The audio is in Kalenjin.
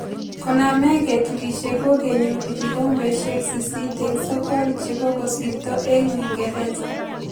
Koname keturishe ko kenyoru kikombeshe sisit eng sokol che kokosirto eng Uingreza.